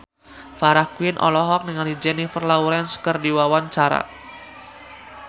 Farah Quinn olohok ningali Jennifer Lawrence keur diwawancara